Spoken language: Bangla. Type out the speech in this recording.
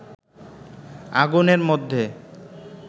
আগুনের মধ্যে